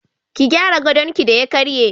Ki gyara gadonki da ya karye.